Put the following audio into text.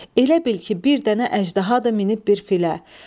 Elə bil ki, bir dənə əjdahadır, minib bir filə.